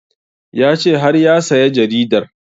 Ya ce har ya saya jaridar